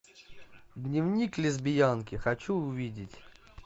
дневник лесбиянки хочу увидеть